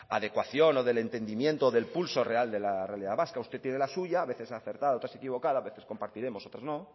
la adecuación o del entendimiento del pulso real de la realidad vasca usted tiene la suya a veces acertada otras equivocada a veces compartiremos otras no